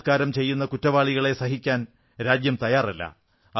ബലാത്കാരം ചെയ്യുന്ന കുറ്റവാളികളെ സഹിക്കാൻ രാജ്യം തയ്യാറല്ല